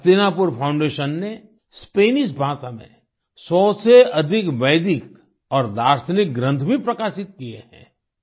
Hastinapur foundation ने Spanish भाषा में 100 से अधिक वैदिक और दार्शनिक ग्रन्थ भी प्रकाशित किये हैं